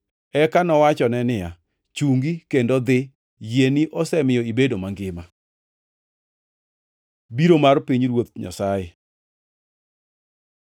Eka nowachone niya, “Chungi kendo idhi, yieni osemiyo ibedo mangima.” Biro mar Pinyruoth Nyasaye